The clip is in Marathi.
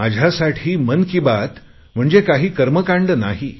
माझ्यासाठी मन की बात म्हणजे काही कर्मकांड नाही